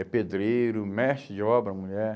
É pedreiro, mestre de obra, mulher.